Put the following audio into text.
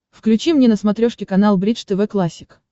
включи мне на смотрешке канал бридж тв классик